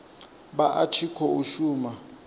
vha a tshi khou shuma